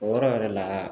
O yɔrɔ yɛrɛ la